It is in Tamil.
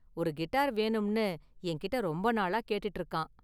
ஒரு கிட்டார் வேணும்னு என்கிட்ட ரொம்ப நாளா கேட்டுட்டு இருக்கான்.